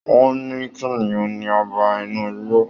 Wọn ní kìnìún ní ọba inú igbó.